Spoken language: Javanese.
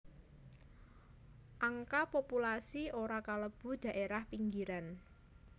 Angka populasi ora kalebu dhaérah pinggiran